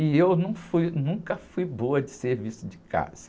E eu num fui, nunca fui boa de serviço de casa.